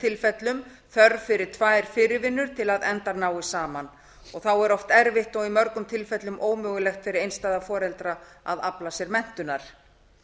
tilfellum þörf fyrir tvær fyrirvinnur til að endar nái saman þá er oft erfitt og í mörgum tilfellum ómögulegt fyrir einstæða foreldra að afla sér menntunar